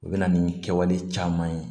U bɛ na ni kɛwale caman ye